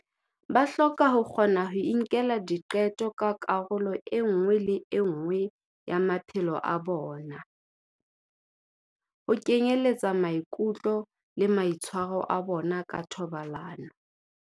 Ba hloka ho kgona ho inkela diqeto ka karolo e nngwe le e nngwe ya maphelo a bona, ho kenyeletsa maikutlo le maitshwaro a bona ka thobalano.